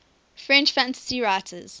french fantasy writers